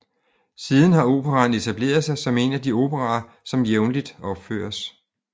Siden har operaen etableret sig som en af de operaer som jævnligt opføres